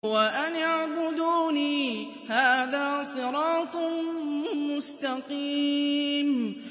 وَأَنِ اعْبُدُونِي ۚ هَٰذَا صِرَاطٌ مُّسْتَقِيمٌ